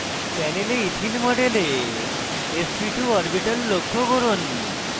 প্যানেলে ইথিন মডেলে sp2 orbital লক্ষ্য করুন